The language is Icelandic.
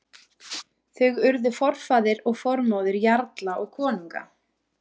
Þau urðu forfaðir og formóðir jarla og konunga.